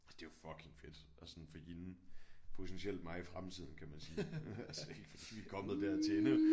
Altså det er jo fucking fedt altså sådan for hende potentielt mig i fremtiden kan man sige altså ikke fordi vi er kommet dertil